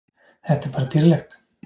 Þetta er bara dýrlegt.